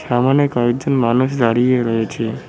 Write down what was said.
সামোনে কয়েকজন মানুষ দাঁড়িয়ে রয়েছে।